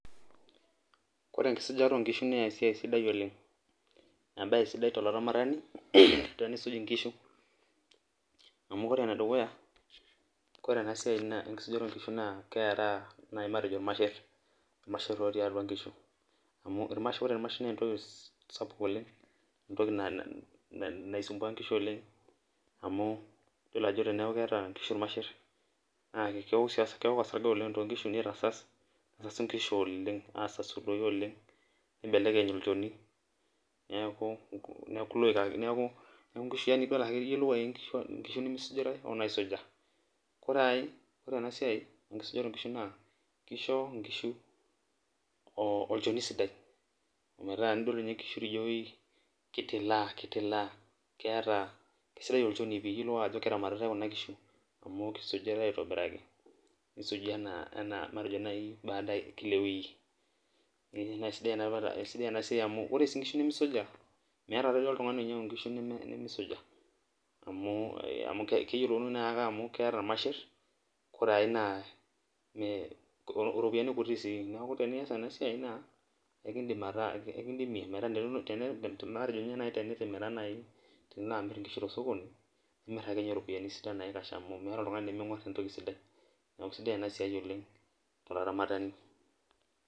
kore enkisujata oo nkishu naa embae sidai oleng embae sidai tolaramatani, tenisuj nkishu, amu ore ene dukuya ore ena siai enkisujata oo nkishu naa keraa naai matejo ilmasher, ilmasher lotii atua nkishu, amu ore ilmasher, naa entoki sapuk oleng entoki naisumbua nkishu, oleng amu ore teneeku keeta nkishu ilmasher, naa keok osarge too nkishu nitasas, nesau nkishu oleng, aasasu doi oleng neibelekeny, olchoni, neeku iloik ake neku nkishu iyiolou ake, nemeisujitae onaaisuja, ore ae, ore ena siai, enkisujata oo nkishu naa kisho nkishu, oo olchoni sidai, ometaa enidol ninye nkishu naa kitilaa kitilaa, keeta kisidai olchoni pii, kelio ae ajo keramatitae kuna kishu, amu kisujitae aetobiraki, kisuji anaa baadav e kila e wiki, naa sidai ena siia amu ore sii nkishu nimisuja, meeta duo oltungani, onyiang'u nkishu nemeisuja amu, keyipoluni na ake amu keeta ilmasher, ore ae na iropiyiani kuti sii neeku enias ena siai, naa ekidim ekidimie, metaa tena matejo ninye naaji tenitimira naai, tenilo amir nkishu te sokoni, tenilo iropiyiani naikash amu meeta oltungani lemeng'uar entoki sidai neeku isidai ena siai oleng tolaramatani.